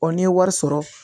n'i ye wari sɔrɔ